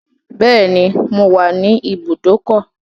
Beni, mo wà ní ìbùdókọ̀.